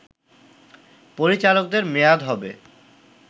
পরিচালকদের মেয়াদ হবে